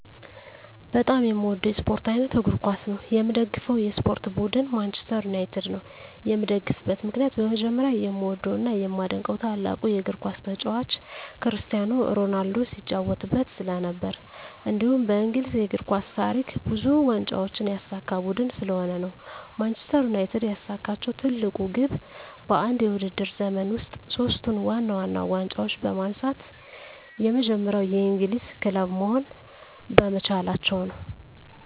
በጣም የምዎደው የስፖርት አይነት እግር ኳስ ነው። የምደግፈው የስፖርት ቡድን ማንችስተር ዩናይትድ ነው። የምደግፍበት ምክንያት በመጀመሪያ የምዎደው እና የማደንቀው ታላቁ የግር ኳስ ተጫዋች ክርስቲያኖ ሮናልዶ ሲጫዎትበት ስለነበር። እንዲሁም በእንግሊዝ የእግር ኳስ ታሪክ ብዙ ዋንጫዎችን ያሳካ ቡድን ስለሆነ ነው። ማንችስተር ዩናይትድ ያሳካችው ትልቁ ግብ በአንድ የውድድር ዘመን ውስጥ ሶስቱን ዋና ዋና ዋንጫዎች በማንሳት የመጀመሪያው የእንግሊዝ ክለብ መሆን በመቻላቸው ነው።